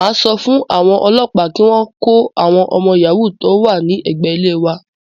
Màá sọ fún àwọn òlọ́pàá kí wọ́n kó àwọn ọmọ yàhóò tó wà ní ẹ̀gbé ilé wa.